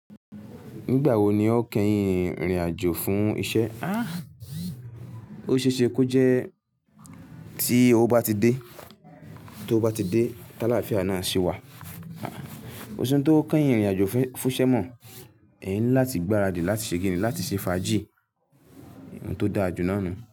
Nígbà wo ni o kẹ́yìn rìnrìn àjò fún iṣẹ́? Ah! Ó ṣe é ṣe kó jẹ́ tí ó bá ti dé, tó bá ti dé tàlàáfíà náà ṣe wà. Kòṣi ntó kẹ́yìn rìnrìn àjò fúnṣẹ́ mọ, ẹyan ńilá ti gbáradì láti ṣe kini láti ṣe fàájì ohun tó dáa jù náà nu.